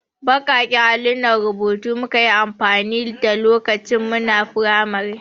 Baƙaƙen allunan rubutu muka yi amfani da lokacin muna firamari.